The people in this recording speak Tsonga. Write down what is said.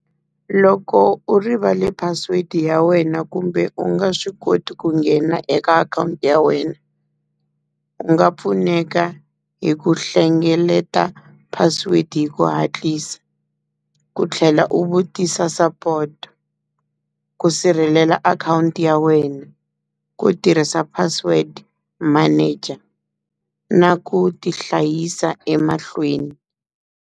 Loko u rivale password ya wena kumbe u nga swi koti ku nghena eka akhawunti ya wena, u nga pfuneka hi ku hlengeleta password hi ku hatlisa, ku tlhela u vutisa support ku sirhelela akhawunti ya wena, ku tirhisa password manager na ku ti hlayisa emahlweni.